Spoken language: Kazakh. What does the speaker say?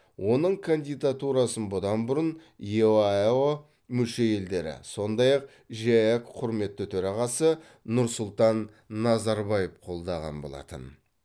оның кандидатурасын бұдан бұрын еаэо мүше елдері сондай ақ жеэк құрметті төрағасы нұрсұлтан назарбаев қолдаған болатын